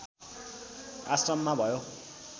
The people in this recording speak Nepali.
आश्रममा भयो